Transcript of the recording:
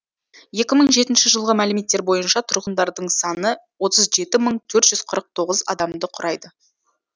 екі мың жетінші жылғы мәліметтер бойынша тұрғындардың саны отыз жеті мың төрт жүз қырық тоғыз адамды құрайды